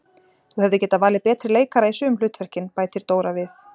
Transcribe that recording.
Þú hefðir getað valið betri leikara í sum hlutverkin, bætir Dóra við.